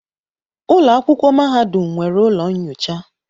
Ụlọ akwụkwọ mahadum nwere ụlọ nyocha.